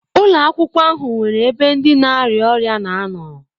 Ụlọ akwụkwọ ahụ nwere ebe ndi na-arịa ọrịa na anọ.